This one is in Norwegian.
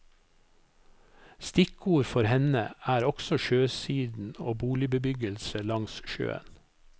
Stikkord for henne er også sjøsiden og boligbebyggelse langs sjøen.